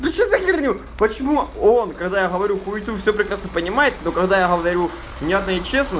да что за херню почему он когда я говорю хуету все прекрасно понимает но когда я говорю внятно и честно